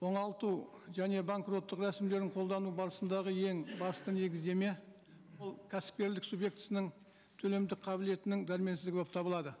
оңалту және банкроттық рәсімдерін қолдану барысындағы ең басты негіздеме ол кәсіпкерлік субъектісінің төлемді қабілетінің дәрменсіздігі болып табылады